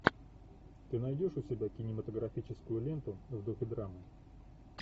ты найдешь у себя кинематографическую ленту в духе драмы